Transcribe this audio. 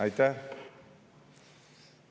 Aitäh!